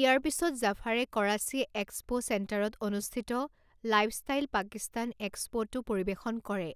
ইয়াৰ পিছত জাফাৰে কৰাচী এক্সপ' চেণ্টাৰত অনুষ্ঠিত লাইফষ্টাইল পাকিস্তান এক্সপ'তো পৰিৱেশন কৰে,